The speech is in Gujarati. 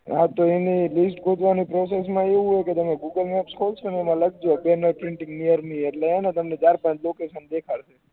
હા તો એનુ list ગોઠવણી process મા એવુ હોય છે કે તમે ગૂગલ મેપ ખોલ્લસો ને એમા લખજો printing near me એટલે હે ને ચાર પાંચ તમને location દેખાડશે